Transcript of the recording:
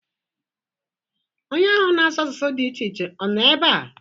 Onye ahụ na-asụ asụsụ dị iche iche ọ nọ ebea?